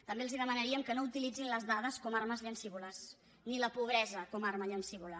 també els demanaríem que no utilitzessin les dades com a armes llancívoles ni la pobresa com a arma llancívola